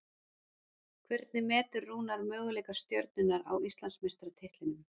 Hvernig metur Rúnar möguleika Stjörnunnar á Íslandsmeistaratitlinum?